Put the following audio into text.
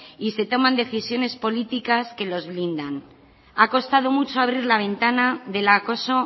y se toman decisiones políticas que los blindan ha costado mucho abrir la ventana del acoso